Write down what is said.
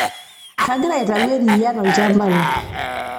kagira aitayu eriyia tolshamba lai